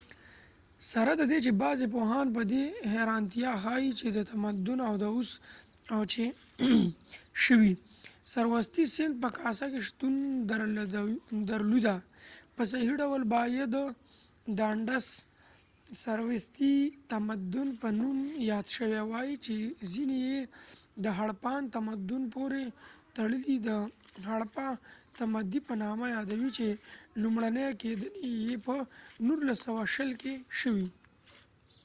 سره ددې چې بغضی پوهان په دي حیرانتیا ښایې چې د تمدن د اوس و چ شوي سروستی سیند په کاسه کې شتون درلوده .په صحیح ډول باید دانډس سروستی تمدن په نوم یاد شوي وای چې ځینی یې د هړپان تمدن پورې تړلی د هړپه تمدي په نامه یادوي چې لومړنی کېندنی یې په 1920 کې وشوي